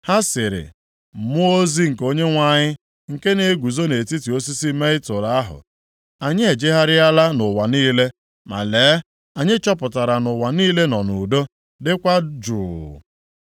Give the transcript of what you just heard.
Ha sịrị mmụọ ozi nke Onyenwe anyị nke na-eguzo nʼetiti osisi mietul ahụ, “Anyị ejegharịala nʼụwa niile, ma lee anyị chọpụtara na ụwa niile nọ nʼudo, dịkwa jụụ.”